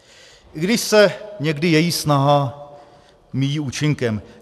I když se někdy její snaha míjí účinkem.